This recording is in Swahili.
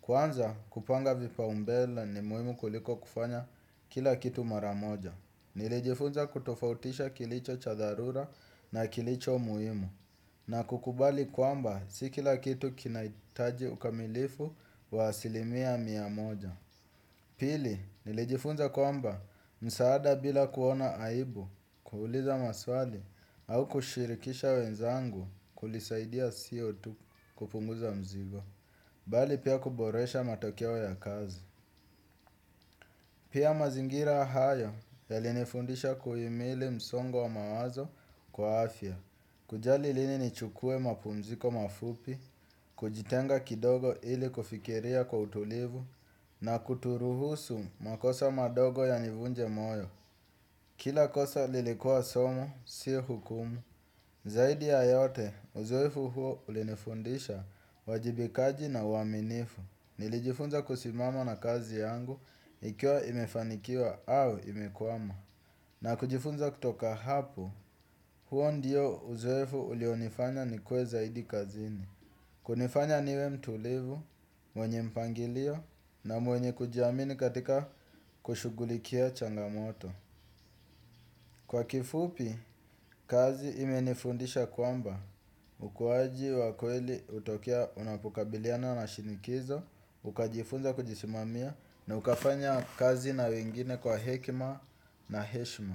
Kwanza kupanga vipa umbele ni muhimu kuliko kufanya kila kitu maramoja. Nilijifunza kutofautisha kilicho cha dharura na kilicho muhimu na kukubali kwamba si kila kitu kinahitaji ukamilifu wa asilimia mia moja. Pili nilijifunza kwamba msaada bila kuona aibu kuuliza maswali au kushirikisha wenzangu kulisaidia siotu kupunguza mzigo bali pia kuboresha matokeo ya kazi. Pia mazingira haya yalinifundisha kuimili msongo wa mawazo kwa afya. Kujali lini ni chukue mapumziko mafupi, kujitenga kidogo ili kufikiria kwa utulivu, na kuturuhusu makosa madogo ya nivunje moyo. Kila kosa lilikua somo, si hukumu. Zaidi ya yote, uzoefu huo ulinifundisha wajibikaji na uaminifu. Nilijifunza kusimama na kazi yangu, ikiwa imefanikiwa au imekwama. Na kujifunza kutoka hapo, huo ndio uzoefu ulio nifanya ni kue zaidi kazini kunifanya niwe mtulivu, mwenye mpangilio na mwenye kujiamini katika kushughulikia changamoto. Kwa kifupi, kazi ime nifundisha kwamba, ukuaji wa kweli utokea unapokabiliana na shinikizo. Ukajifunza kujisimamia na ukafanya kazi na wengine kwa hekima na heshma.